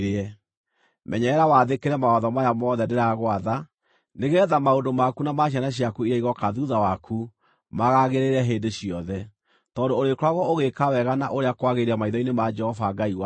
Menyerera wathĩkĩre mawatho maya mothe ndĩragwatha, nĩgeetha maũndũ maku na ma ciana ciaku iria igooka thuutha waku maagagĩrĩre hĩndĩ ciothe, tondũ ũrĩkoragwo ũgĩĩka wega na ũrĩa kwagĩrĩire maitho-inĩ ma Jehova Ngai waku.